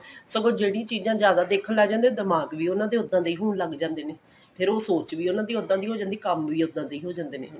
ਸਗੋਂ ਜਿਹੜੀ ਚੀਜਾਂ ਜਿਆਦਾ ਦੇਖਣ ਲੱਗ ਜਾਂਦੇ ਨੇ ਦਿਮਾਗ ਵੀ ਉਹਨਾਂ ਦੇ ਉਦਾਂ ਦੇ ਹੋਣ ਲਗ ਜਾਂਦੇ ਨੇ ਫੇਰ ਸੋਚ ਵੀ ਉਹਨਾਂ ਦੀ ਓਦਾਂ ਦੀ ਹੋ ਜਾਂਦੀ ਕੰਮ ਵੀ ਉਦਾਂ ਦੇ ਹੋ ਜਾਂਦੇ ਨੇ